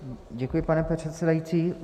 Děkuji, pane předsedající.